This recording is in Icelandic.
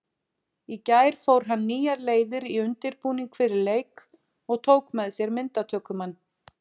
Í gær fór hann nýjar leiðir í undirbúning fyrir leik og tók með sér myndatökumann.